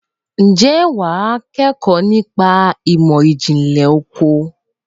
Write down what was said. Ǹjẹ́ wà á kẹ́kọ̀ọ́ nípa ìmọ̀ ìjìnlẹ̀ oko?